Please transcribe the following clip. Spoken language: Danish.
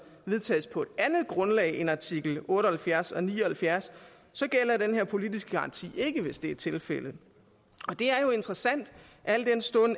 vedtages på et andet grundlag end artikel otte og halvfjerds og ni og halvfjerds gælder den her politiske garanti ikke hvis det er tilfældet det er jo interessant al den stund